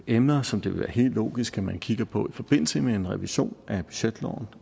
emner som det vil være helt logisk at man kigger på i forbindelse med en revision af budgetloven